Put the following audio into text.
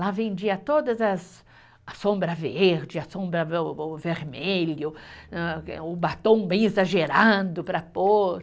Lá vendia toda as, a sombra verde, a sombra vermelha, o batom bem exagerado para pôr.